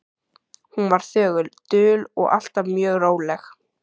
Hún var þögul, dul og alltaf mjög róleg.